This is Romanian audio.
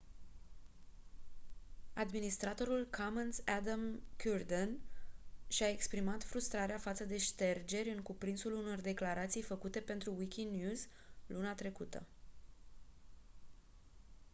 administratorul commons adam cuerden și-a exprimat frustrarea față de ștergeri în cuprinsul unor declarații făcute pentru wikinews luna trecută